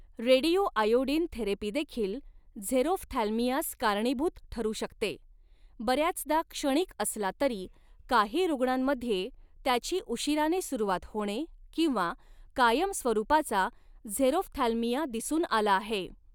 Radioiodine थेरपीदेखील झेरोफ्थॅल्मियास कारणीभूत ठरू शकते, बऱ्याचदा क्षणिक असला तरी, काही रूग्णांमध्ये त्याची उशीराने सुरुवात होणे किंवा कायमस्वरूपाचा झेरोफ्थॅल्मिया दिसून आला आहे.